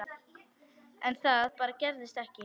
En það bara gerðist ekki.